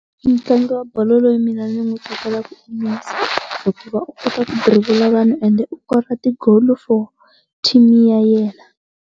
Mutlangi wa bolo loyi mina ndzi n'wi tsakelaka i Messi hikuva u kota ku dirivula vanhu ende u kora ti goal for team ya yena.